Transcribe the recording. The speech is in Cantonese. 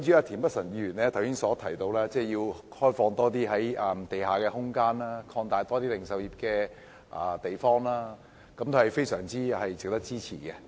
田北辰議員剛才提到要開放更多地下空間，以及擴大零售業的地方等建議，也是非常值得支持的。